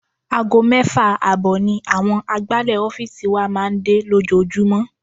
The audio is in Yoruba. Aago mẹ́fà ààbọ̀ ni àwọn agbálẹ̀ ọ́fíìsì wa máa ń dé lójoojúmọ́.